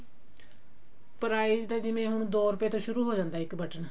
price ਤਾਂ ਜਿਵੇਂ ਦੋ ਰੁਪੇ ਤੋਂ ਸ਼ੁਰੂ ਹੋ ਜਾਂਦਾ ਇੱਕ ਬਟਨ